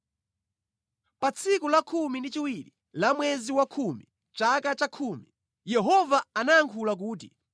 Pa tsiku lakhumi ndi chiwiri la mwezi wakhumi, chaka chakhumi, Yehova anandiyankhula kuti: